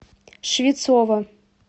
швецова